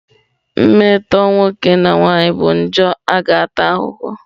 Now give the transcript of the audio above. mmetọ nwoke na nwanyị bụ mmejọ a ga-ata ahụhụ.